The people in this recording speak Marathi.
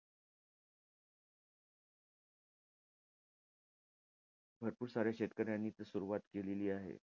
भरपूर साऱ्या शेतकऱ्यांनी सुरवात केलेली आहे.